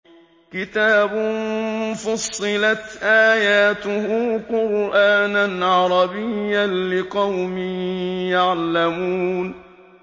كِتَابٌ فُصِّلَتْ آيَاتُهُ قُرْآنًا عَرَبِيًّا لِّقَوْمٍ يَعْلَمُونَ